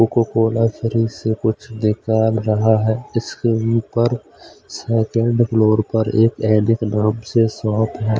Coca Cola शरीर से कुछ दिखाल रहा है इसके ऊपर सेकंड फ्लोर पर एक एडिक नाम से शॉप है।